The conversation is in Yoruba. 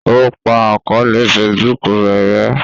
o pa àkọọlẹ Facebook rẹ rè